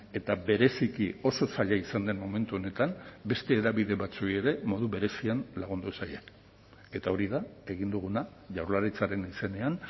eta bereziki oso zaila izan den momentu honetan beste hedabide batzuei ere modu berezian lagundu zaien eta hori da egin duguna jaurlaritzaren izenean